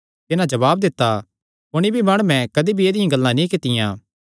तिन्हां जवाब दित्ता कुणी भी माणुये कदी भी ऐदिआं गल्लां नीं कित्तियां